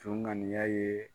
Jɔn ŋaniya ye